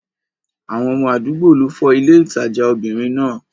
Àwọn ọmọ àdúgbò ló fọ́ ilé ìtajà obìnrin náà.